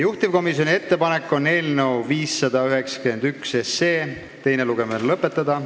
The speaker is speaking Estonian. Juhtivkomisjoni ettepanek on eelnõu 591 teine lugemine lõpetada.